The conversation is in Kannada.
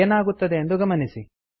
ಏನಾಗುತ್ತದೆ ಎಂದು ಗಮನಿಸಿ